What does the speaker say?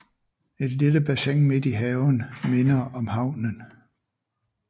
Et lille bassin midt i haven minder om havnen